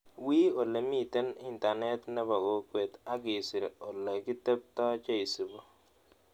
Wii olemiten internet ne po kokwet ak isir ole kitepto cheiisibuu